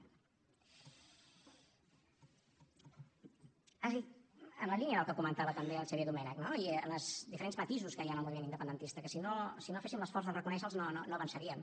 has dit en la línia del que comentava també el xavier domènech no i en els diferents matisos que hi ha en el moviment independentista que si no féssim l’esforç de reconèixer los no avançaríem